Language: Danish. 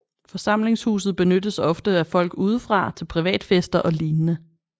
Forsamlingshuset benyttes ofte af folk udefra til privatfester og lignende